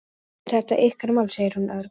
Auðvitað er þetta ykkar mál, segir hún örg.